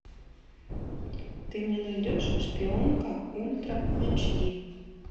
ты мне найдешь шпионка ультра эйч ди